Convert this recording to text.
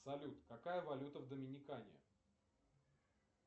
салют какая валюта в доминикане